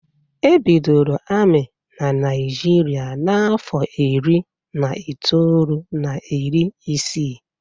E bidoro ami na Naijiria n'afọ iri na itoolu na iri isii.